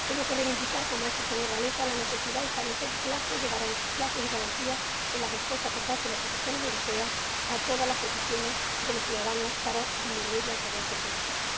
Tengo que reivindicar ―como ha hecho el señor Wałęsa― la necesidad de establecer plazos y garantías en la respuesta, por parte de las instituciones europeas, a todas las peticiones de los ciudadanos, para disminuir la injerencia política.